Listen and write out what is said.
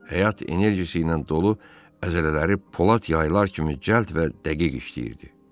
Həyat enerjisi ilə dolu əzələləri polad yaylar kimi cəld və dəqiq işləyirdi.